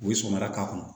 U ye sɔgɔmada k'a kɔnɔ